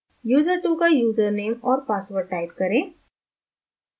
user2 का username और password type करें